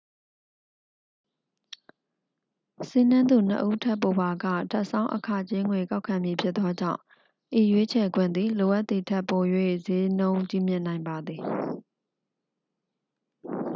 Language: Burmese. စီးနင်းသူ 2 ဦးထက်ပိုပါက ထပ်ဆောင်း အခကြေးငွေ ကောက်ခံမည်ဖြစ်သောကြောင့် ဤရွေးချယ်ခွင့်သည် လိုအပ်သည်ထက်ပို၍ စျေးနှုန်းကြီးမြင့်နိုင်ပါသည်